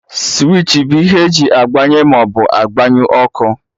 Switchi bụ ihe eji agbanye ma agbanyụ ọkụ